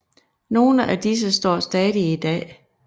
Nogle af disse står stadig i dag